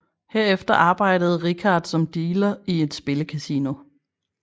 Herefter arbejdede Rickard som dealer i et spillecasino